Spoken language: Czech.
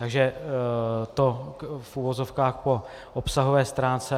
Takže to v uvozovkách po obsahové stránce.